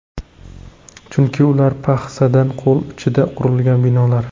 Chunki ular paxsadan, qo‘l uchida qurilgan binolar.